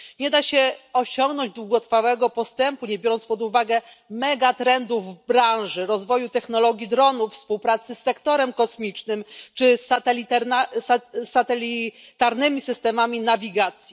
Nie da się osiągnąć długotrwałego postępu, nie biorąc pod uwagę megatrendów w branży rozwoju technologii dronów, współpracy z sektorem kosmicznym czy satelitarnymi systemami nawigacji.